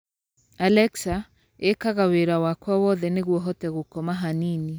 Alexa, ĩkaga wĩra wakwa wothe nĩguo hote gũkoma hanini